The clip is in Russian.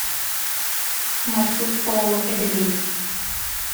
маршрут ооо эдельвейс